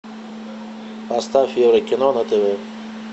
поставь еврокино на тв